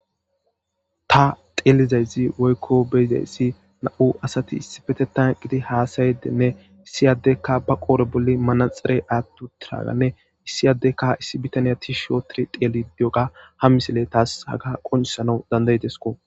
Ta beyizays woykko xellizayssi nam'u asati issippe eqidi hasayidinne issi addeykka ba qodhdhe bolla athi uttida manaxire woththidii issi adekka issi adde tishi ottidixellidi diyoga ha misileqonccisidi de'es